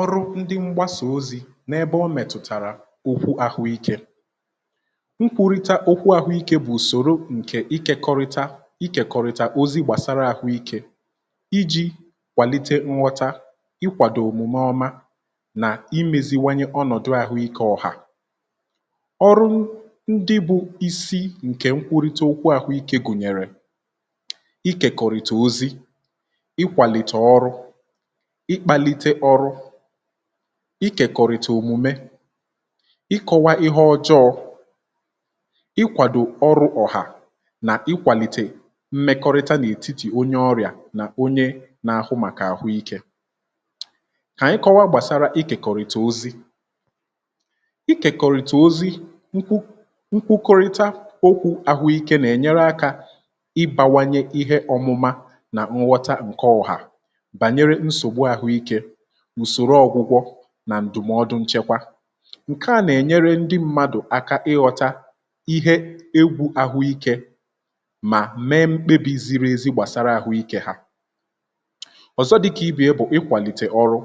ọrụ ndị mgbasa ozi n’ebe o mètụ̀tàrà okwu ahụikė, nkwurita okwu ahụike bụ̀ ùsòro ǹkè ikekọrịta ikėkọrịta òzi gbàsara ahụikė iji̇ kwàlite nghọta um ịkwàdò òmùme ọma nà imėziwanye ọnọ̀dụ ahụikė ọ̀hà. ọrụ ndị bụ̇ isi ǹkè nkwurịta okwu ahụikė gùnyèrè ikèkọrịta ozi̇, ikwàlìtà ọrụ, ikèkọ̀rị̀tà òmume, ikọ̀wa ihe ọjọọ, ị kwàdò ọrụ̇ ọ̀hà um nà ikwàlìtè mmekọrịta n’ètitì onye ọrịà nà onye na-ahụ màkà àhụ ikė. kà anyị kọwaa gbàsara ikèkọ̀rị̀tà ozi ikèkọ̀rị̀tà ozi, nkwukọrịta okwu̇ àhụ ikė nà ènyere akȧ ịbawanye ihe ọ̇mụ̇mȧ um nà nghọta ǹkè ọ̀hà ǹsòrò ọgwụgwọ nà ǹdụmọdụ nchekwa. ǹke à nà-ènyere ndị mmadụ̀ aka ịghọta ihe egwu̇ ahụikė mà mee mkpebi̇ ziri ezi gbàsara àhụikė ha. ọ̀zọ dịkà ìbìe bụ̀ ikwàlìtè ọrụ̇